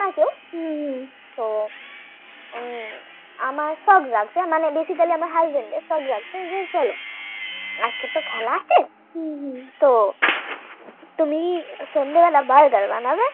ও আমার shock লাগছে basically আমার Husband এর shock লাগছে যে চলো আজকে তো খেলা আছে তো তুমি সন্ধ্যা বেলায় Burger বানাবে